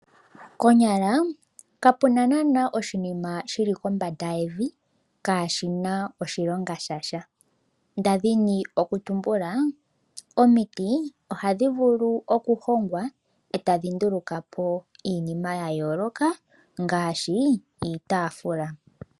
Konyala ka puna naana oshinima shili kombanda yevi kaashina oshilonga sha sha, ndali ndina okutumbula omiti ohadhi vulu okuhongwa e ta dhi nduluka po iinima ya yooloka ngaashi iitafula.